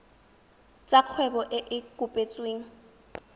tsa kgwebo e e kopetsweng